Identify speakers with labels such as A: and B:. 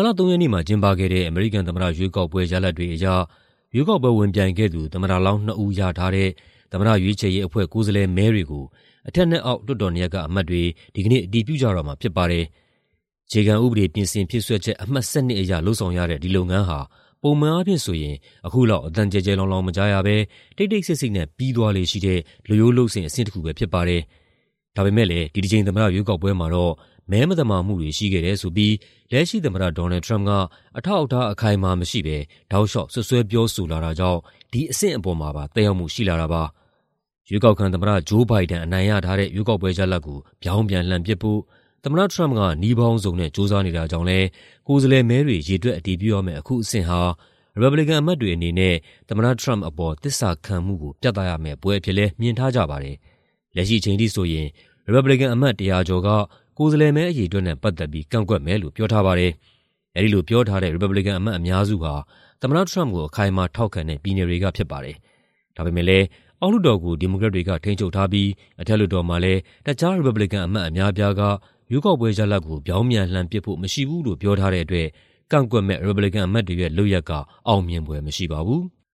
A: လ ၃ ရက်နေ့မှာ ကျင်းပခဲ့တဲ့ အမေရိကန်သမ္မတရွေးကောက်ပွဲ ရလဒ်တွေအရ ရွေးကောက်ပွဲဝင်ပြိုင်ခဲ့သူ သမ္မတလောင်းနှစ်ဦး ရထားတဲ့ သမ္မတရွေးချယ်ရေးအဖွဲ့ ကိုယ်စားလှယ်မဲတွေကို အထက်နဲ့အောက် လွှတ်တော်နှစ်ရပ်က အမတ်တွေ ဒီကနေ့ အတည်ပြုကြရတော့မှာဖြစ်ပါတယ်။ အခြေခံဥပဒေ ပြင်ဆင်ဖြည့်စွက်ချက် အမှတ် ၁၂ အရ လုပ်ဆောင်ရတဲ့ ဒီလုပ်ငန်းဟာ ပုံမှန်အားဖြင့်ဆိုရင် အခုလောက် အသံကျယ်ကျယ်လောင်လောင် မကြားရဘဲ တိတ်တိတ်ဆိတ်ဆိတ်နဲ့ ပြီးသွားလေ့ရှိတဲ့ လုပ်ရိုးလုပ်စဉ် အဆင့်တခုပဲဖြစ်ပါတယ်။ ဒါပေမဲ့လည်း ဒီတကြိမ် သမ္မတရွေးကောက်ပွဲမှာတော့ မဲမသမာမှုတွေ ရှိခဲ့တယ်ဆိုပြီး လက်ရှိ သမ္မတ ဒေါ်နယ်လ်ဒ် ထရမ့်ပ်က အထောက်အထား အခိုင်အမာမရှိဘဲ တောက်လေ ျှာက် စွပ်စွဲပြောဆိုလာတာကြောင့် ဒီအဆင့်ပေါ်မှာပါ သက်ရောက်မှုရှိလာတာပါ။ ရွေးကောက်ခံသမ္မတ ဂျိုးဘိုင်ဒန် အနိုင်ရထားတဲ့ ရွေးကောက်ပွဲရလဒ်ကို ပြောင်းပြန်လှန်ပစ်ဖို့ သမ္မတထရမ့်ပ်က နည်းပေါင်းစုံနဲ့ ကြိုးစားနေတာကြောင့်လည်း ကိုယ်စားလှယ်မဲတွေ ရေတွက် အတည်ပြုရမယ့် အခုအဆင့်ဟာ ရီပတ်ဘလီကန်အမတ်တွေအနေနဲ့ သမ္မတထရမ့်ပ်အပေါ် သစ္စာခံမှုကိုပြသရမယ့်ပွဲအဖြစ်လည်း မြင်ထားကြပါတယ်။ လက်ရှိအချိန်ထိဆိုရင် ရီပတ်ဘလီကန်အမတ် ၁၀၀ ကျော်က ကိုယ်စားလှယ်မဲ အရေအတွက်နဲ့ပတ်သက်ပြီး ကန့်ကွက်မယ်လို့ ပြောထားပါတယ်။ အဲဒီလိုပြောထားတဲ့ ရီပတ်ဘလီကန်အမတ်အများစုဟာ သမ္မတထရမ့်ပ်ကို အခိုင်အမာထောက်ခံတဲ့ ပြည်နယ်တွေကဖြစ်ပါတယ်။ ဒါပေမဲ့လည်း အောက်လွှတ်တော်ကို ဒီမိုကရက်တွေက ထိန်းချုပ်ထားပြီး အထက်လွှတ်တော်မှာလည်း တခြားရီပတ်ဘလီကန်အမတ် အများအပြားက ရွေးကောက်ပွဲရလဒ်ကို ပြောင်းပြန်လှန်ပစ်ဖို့ မရှိဘူးလို့ ပြောထားတဲ့အတွက် ကန့်ကွက်မယ့် ရီပတ်ဘလီကန်အမတ်တွေရဲ့လုပ်ရပ်က အောင်မြင်ဖွယ်မရှိပါဘူး။